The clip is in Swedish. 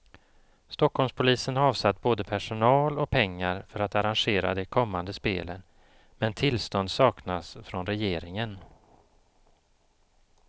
Stockholmspolisen har avsatt både personal och pengar för att arrangera de kommande spelen, men tillstånd saknas från regeringen.